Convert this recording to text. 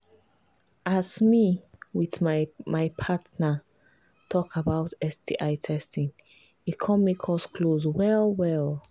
as me with my my partner talk about sti testing e come make us close well well